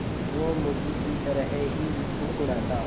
वो मुर्गी की तरह ही कुड़कुड़ाता